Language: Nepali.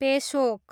पेसोक